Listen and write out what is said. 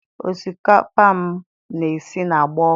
Osikapa m na-esi na-agba ọkụ.